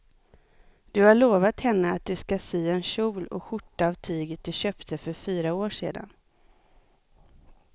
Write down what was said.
Du har lovat henne att du ska sy en kjol och skjorta av tyget du köpte för fyra år sedan.